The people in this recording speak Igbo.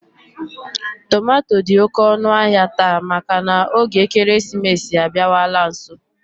Tomato dị oké ọnụahịa taa maka na oge ekeresimesi abịawala nso